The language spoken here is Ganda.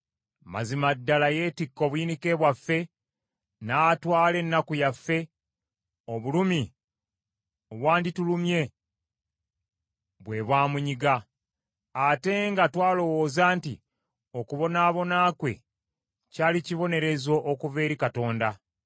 Mazima ddala yeetikka obuyinike bwaffe, n’atwala ennaku yaffe, obulumi obwanditulumye bwe bwamunyiga. Ate nga twalowooza nti okubonaabona kwe kyali kibonerezo okuva eri Katonda.